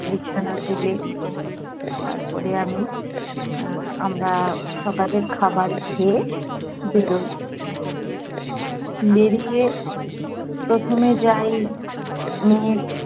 বিছানা তুলে তারপরে আমি আহ আমরা সকালের খাবার খেয়ে বেড়োই। বেড়িয়ে প্রথমে যাই মেয়ের